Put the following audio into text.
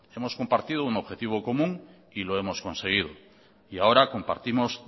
hemos compartido un objetivo común y lo hemos conseguido y ahora compartimos